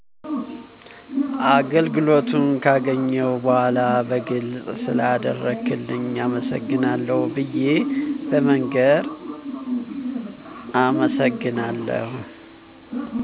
አገልግሎቱን ገካገኘሁ በዃላ በግልጽ ስለአደረክልኝ አመሰግናለሁ ብየ በመንገር